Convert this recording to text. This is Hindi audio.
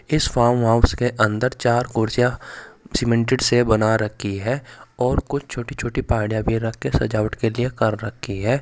इस फार्म हाउस के अंदर चार कुर्सियां सीमेंटेड से बना रखी है और कुछ छोटी छोटी पहाड़ियां भी रख के सजावट के लिए कर रखी है।